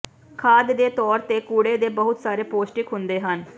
ਖਾਦ ਦੇ ਤੌਰ ਤੇ ਕੂੜੇ ਦੇ ਬਹੁਤ ਸਾਰੇ ਪੌਸ਼ਟਿਕ ਹੁੰਦੇ ਹਨ